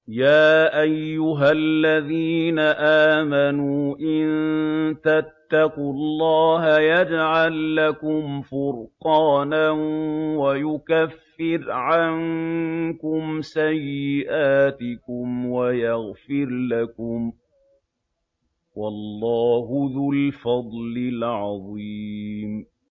يَا أَيُّهَا الَّذِينَ آمَنُوا إِن تَتَّقُوا اللَّهَ يَجْعَل لَّكُمْ فُرْقَانًا وَيُكَفِّرْ عَنكُمْ سَيِّئَاتِكُمْ وَيَغْفِرْ لَكُمْ ۗ وَاللَّهُ ذُو الْفَضْلِ الْعَظِيمِ